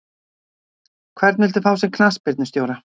Hvern viltu fá sem knattspyrnustjóra?